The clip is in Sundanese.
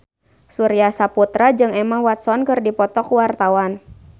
Surya Saputra jeung Emma Watson keur dipoto ku wartawan